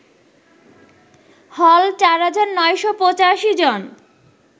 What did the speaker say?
হল ৪৯৮৫ জন